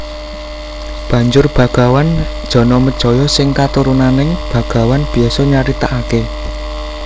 Banjur bagawan Janamejaya sing katurunaning bagawan Byasa nyaritakake